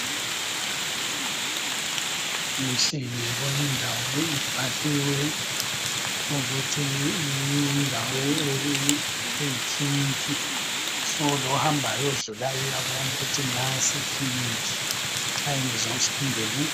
Kuhle ngiyayibona indawo ibhaliwe ukuthi yindawo eyikiliniki solowo ohambayo odlulayo uyayibona ukuthi nansi ikilinik nxa engezwa kuhle angene.